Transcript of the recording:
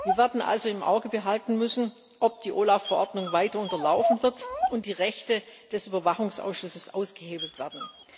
Wir werden also im Auge behalten müssen, ob die OLAF Verordnung weiter unterlaufen wird und die Rechte des Überwachungsausschusses ausgehebelt werden.